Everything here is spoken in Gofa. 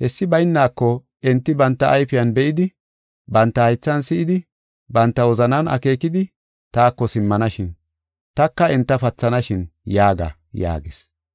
Hessi bayneko, enti banta ayfiyan be7idi, banta haythan si7idi, banta wozanan akeekidi, taako simmanashin; taka enta pathanashin’ yaaga” yaagis.